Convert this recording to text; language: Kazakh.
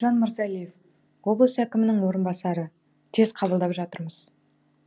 мейіржан мырзалиев облыс әкімінің орынбасары тез қабылдап жатырмыз